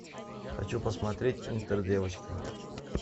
хочу посмотреть интердевочка